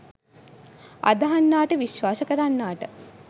අදහන්නාට විශ්වාස කරන්නාට